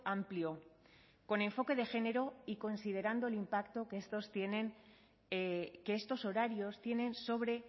amplio con enfoque de género y considerando el impacto que estos horarios tienen sobre